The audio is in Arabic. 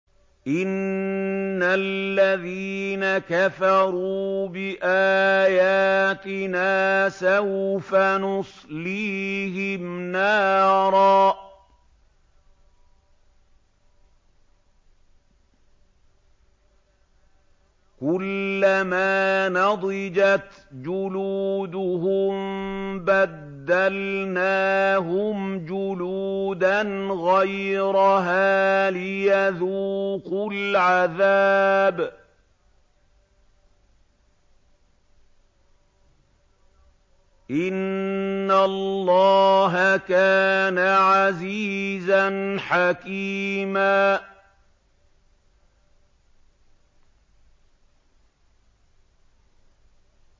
إِنَّ الَّذِينَ كَفَرُوا بِآيَاتِنَا سَوْفَ نُصْلِيهِمْ نَارًا كُلَّمَا نَضِجَتْ جُلُودُهُم بَدَّلْنَاهُمْ جُلُودًا غَيْرَهَا لِيَذُوقُوا الْعَذَابَ ۗ إِنَّ اللَّهَ كَانَ عَزِيزًا حَكِيمًا